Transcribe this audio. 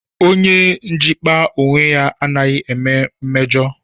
Onye njikpa onwe anaghị eme mmejo